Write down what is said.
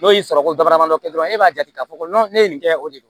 N'o y'i sɔrɔ ko baradama dɔ kɛ dɔrɔn e b'a jate k'a fɔ ko ne ye nin kɛ o de ye